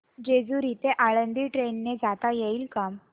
जेजूरी ते आळंदी ट्रेन ने जाता येईल का